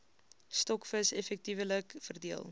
stokvis effektiewelik verdeel